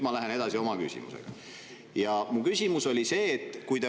Ma lähen oma küsimusega edasi.